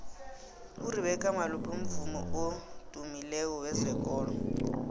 urebecca malope mvumi odymileko wezekolo